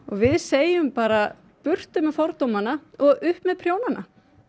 við segjum bara burtu með fordómana og upp með prjónana